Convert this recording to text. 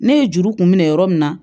Ne ye juru kun minɛ yɔrɔ min na